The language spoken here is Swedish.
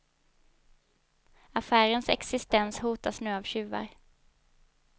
Affärens existens hotas nu av tjuvar.